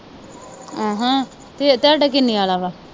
ਫਿਰ ਤੁਹਾਡਾ ਕਿੰਨੇ ਆਲਾ।